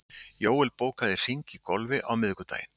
Jóel, bókaðu hring í golf á miðvikudaginn.